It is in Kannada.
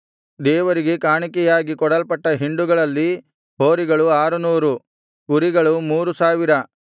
ದೇವರಿಗೆ ಕಾಣಿಕೆಯಾಗಿ ಕೊಡಲ್ಪಟ್ಟ ಹಿಂಡುಗಳಲ್ಲಿ ಹೋರಿಗಳು ಆರುನೂರು ಕುರಿಗಳು ಮೂರು ಸಾವಿರ